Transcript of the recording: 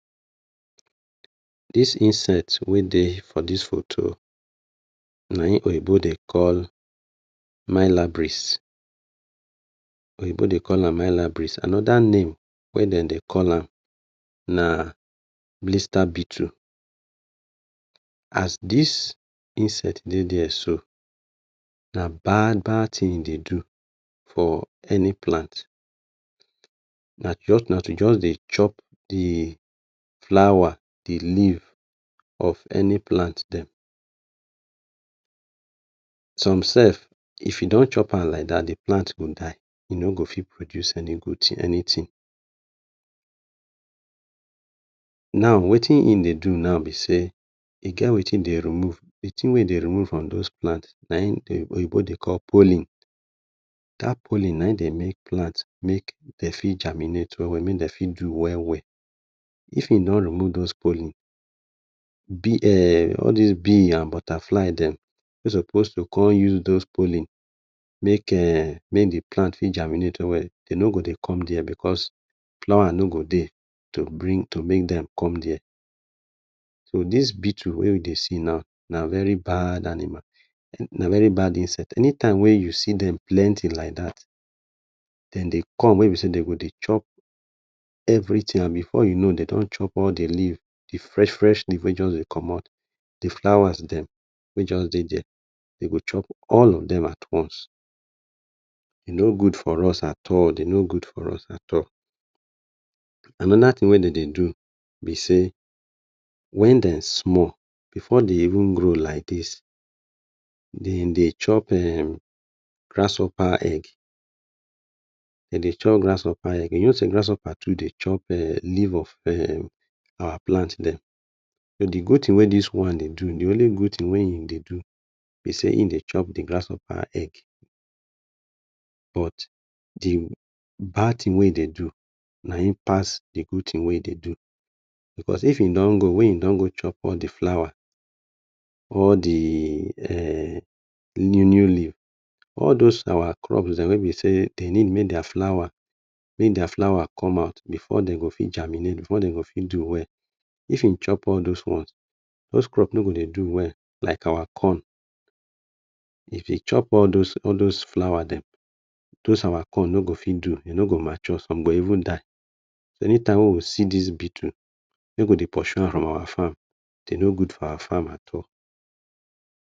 Dis insect wey dey for dis foto na in oyibo dey call mylabris, oyibo de call am mylabris. Anoda name wey dem dey call na blister beetle. As dis insect dey dia so, na bad-bad tin e dey do for any plant. Na to just dey chop the flour, the leaf of any plant dem. Some sef if e don chop am like dat the plant go die, e no go fit produce anytin. Now wetin e dey do now be sey, e get wetin e dey remove, the tin wey dey remove na in oyibo de call pollen. Dat pollen na in dey make plant mey fit germinate we-we, make dem fit do we-we. If im don remove dos pollen, all dos bee and butterfly dem wey suppose go use dos pollen make the plan germinate. E no go de come dia because flower no go dey to bring dem come dia. So dis beetle wey we dey see now na very bad animal, na very bad insect. Any time wey you see dem plenty like dat dem dey come wey be sey dem go chop every tin and before you know dem don chop all the leaf, the fresh-fresh leaf wey just dey comot, the flower dem wey just dey dia, dem go chop all of dem at once. E no gud for us at all, e no gud for us. Anoda tin wey dem dey do be sey, wen dem small before dem even grow like dis, dem dey chop grasshopper egg, de dey chop grasshopper egg, you no sey grasshopper dem dey chop leaf of our plant dem. The good tin wey dis one dey do, the only good tin wey in dey do e dey chop the grasshopper egg but the bad tin wey e dey do na in pass the good tin wey in dey do. Because if in don go wey in don chop all the flower or the new-new leaf, all dos our crop dem wey be sey dem dem need mey our flower dem germinate before den go fit do well, if in chop all dis ones, dos crops no go dey do well like our corn, if e chop all dos flower dem dos our corn no go fit do, de no go mature, some go even die, anytime wey we see dis beetle, mey we dey poshu am for our fam, de no gud for our fam at all.